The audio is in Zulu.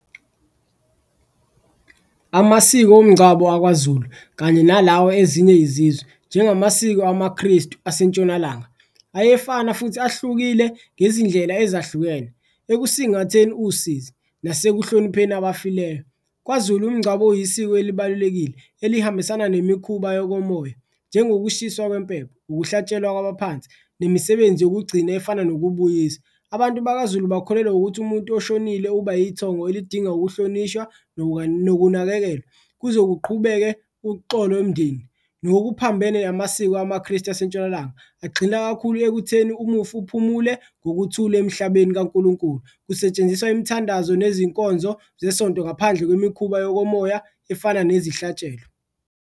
Amasiko omngcwabo akwaZulu kanye nalawo ezinye izizwe njengamasiko amaKristu asentshonalanga ayefana futhi ahlukile ngezindlela ezahlukene, ekusingatheni usizi nasekuhlonipheni abafileyo. KwaZulu umngcwabo uyisiko elibalulekile elihambisana nemikhuba yokomoya njengokushiswa kwempepho, ukuhlatshelwa kwabaphansi nemisebenzi yokugcina efana nokubuyisa. Abantu bakaZulu bakholelwa ukuthi umuntu oshonile uba ithongo elidinga ukuhlonishwa nokunakekelwa, kuze kuqhubeke uxolo imndeni ngokuphambene namasiko amaKristu asentshonalanga. Agxila kakhulu ekutheni umufi uphumule ngokuthula emhlabeni kaNkulunkulu, kusetshenziswa imithandazo nezinkonzo zesonto ngaphandle kwemikhuba yokomoya efana nezihlatshelo.